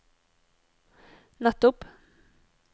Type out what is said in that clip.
nettopp